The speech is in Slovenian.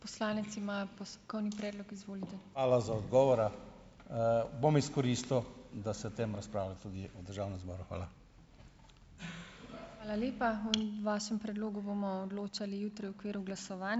Hvala za odgovora. Bom izkoristil, da se o tem razpravlja tudi v državnem zboru. Hvala.